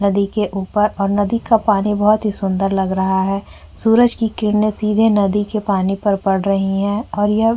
नदी के ऊपर और नदी का पानी बहोत ही सुंदर लग रहा है। सूरज की किरणें सीधे नदी के पानी पर पड़ रही हैं और यह --